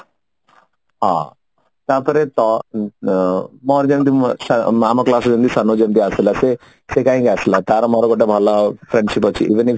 ହଁ ତା ପରେ ତ ମୋର ଯେମିତି ଅ ଆମ class ରେ ଯେମିତି ସାନୋଜ ଏବେ ଆସିଥିଲା ସେ ସେ କହିକି ଆସିଲା ତାର ମୋର ଗୋଟେ ଭଲ friendship ଅଛି even if